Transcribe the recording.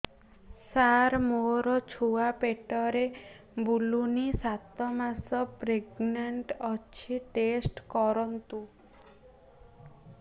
ସାର ମୋର ଛୁଆ ପେଟରେ ବୁଲୁନି ସାତ ମାସ ପ୍ରେଗନାଂଟ ଅଛି ଟେଷ୍ଟ କରନ୍ତୁ